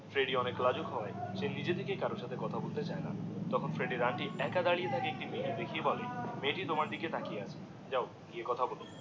Freddie অনেক লাজুক হয়ে সে নিজে থেকেই কারোর সাথে কথা বলতে চায়না, তখন ফ্রেডির আন্টি একা দাঁড়িয়ে থাকা একটা মেয়ে কে দেখিয়ে বলে, মেয়েটি তোমার দিকেই তাকিয়ে আছে, যাও গিয়ে কথা বলো